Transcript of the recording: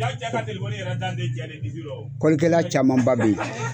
Kɔlikɛla camanba bɛ yen